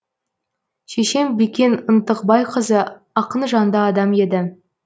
шешем бикен ынтықбайқызы ақынжанды адам еді